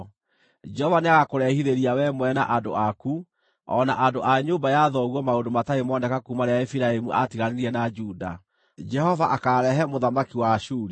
Jehova nĩagakũrehithĩria wee mwene na andũ aku, o na andũ a nyũmba ya thoguo maũndũ matarĩ moneka kuuma rĩrĩa Efiraimu aatiganire na Juda; Jehova akaarehera mũthamaki wa Ashuri.”